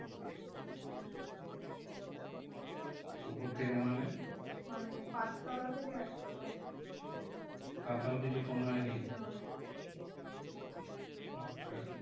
উপর থেকে মানে? মানে পাঁচতলা থেকে একতলা। তাতেও কিছু ফোন হয়নি? না আচ্ছা